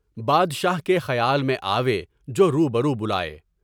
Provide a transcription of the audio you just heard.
بادشاہ کے خیال میں آوے جو روبرو بلائے۔